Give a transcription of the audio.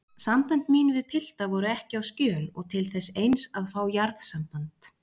Sambönd mín við pilta voru ekki á skjön og til þess eins að fá jarðsamband.